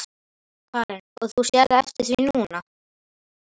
Karen: Og þú sérð eftir því núna?